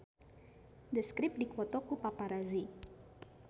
The Script dipoto ku paparazi